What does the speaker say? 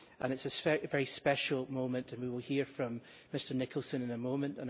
It is a very special moment, and we will hear from Mr Nicholson in a moment.